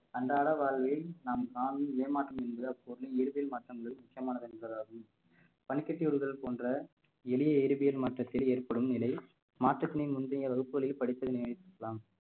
அன்றாட வாழ்வில் நாம் என்கிற பொருளில் வேதியல் மாற்றங்கள் முக்கியமானது என்பதாகும் பனிக்கட்டி உருகுதல் போன்ற எளிய இயற்பியல் மாற்றத்தில் ஏற்படும் நிலை மாற்றத்தினை முந்திய வகுப்புகளில் படிப்பதனை இருக்கலாம்